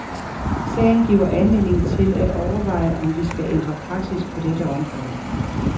Sagen giver anledning til at overveje, om vi skal ændre praksis på dette område.